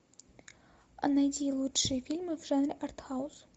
найди лучшие фильмы в жанре артхаус